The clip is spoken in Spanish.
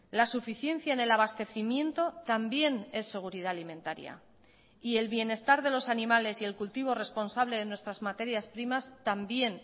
la suficiencia en el abastecimiento también es seguridad alimentaria y el bienestar de los animales y el cultivo responsable de nuestras materias primas también